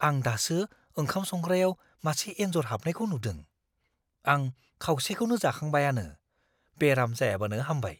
आं दासो ओंखाम संग्रायाव मासे एन्जर हाबनायखौ नुदों। आं खावसेखौनो जाखांबायआनो, बेराम जायाबानो हामबाय!